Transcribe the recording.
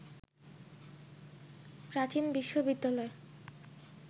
প্রাচীন বিশ্ববিদ্যালয়